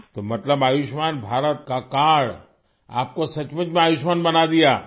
تو مطلب آیوشمان بھارت کارڈ نے آپ کو سچ مچ میں آیوشمان بنا دیا